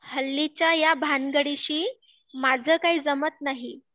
हल्लीच्या ह्या भानगडीशी, माझं काही जमात नाही